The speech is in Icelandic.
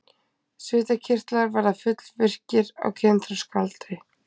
Svitakirtlar verða fullvirkir á kynþroskaaldri.